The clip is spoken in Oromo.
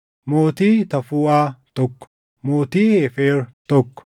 mootii Tafuuʼaa, tokko mootii Heefer, tokko